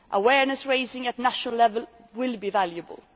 Awareness raising at national level will be valuable.